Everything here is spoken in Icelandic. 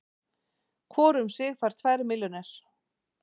Hvor um sig fær tvær milljónir